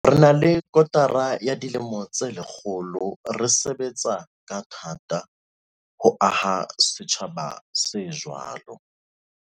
Re na le kotara ya dilemo tse lekgolo re sebetsa ka tha-ta ho aha setjhaba se jwalo.